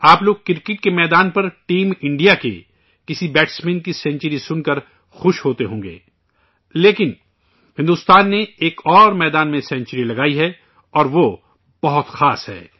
آپ لوگ کرکٹ کے میدان پر ٹیم انڈیا کے کسی بلے بازی کی سنچری سُن کر خوشی ہوتے ہوں گے، لیکن بھارت نے ایک اور میدان میں سنچری لگائی ہے اور وہ بہت خاص ہے